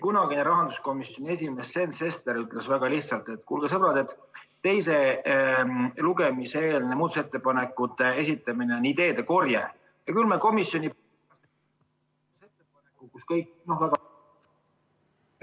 Kunagine rahanduskomisjoni esimees Sven Sester ütles väga lihtsalt, et kuulge, sõbrad, teise lugemise eelne muudatusettepanekute esitamine on ideede korje ja küll me komisjoni ...